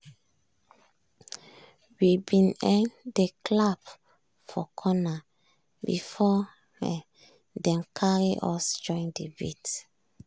we bin um dey clap for corner before dem carry us join de beat.